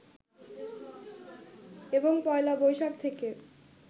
এবং পয়লা বৈশাখ থেকে